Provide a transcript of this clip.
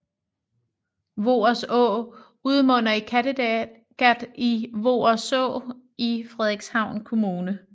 Voers Å udmunder i Kattegat i Voerså i Frederikshavn Kommune